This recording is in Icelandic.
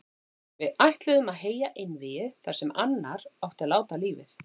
Við ætluðum að heyja einvígi þar sem annar átti að láta lífið.